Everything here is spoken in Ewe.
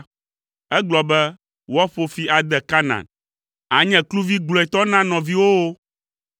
egblɔ be, “Woaƒo fi ade Kanaan; ànye kluvi gblɔetɔ na nɔviwòwo.”